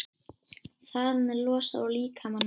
Þaðan er það losað úr líkamanum.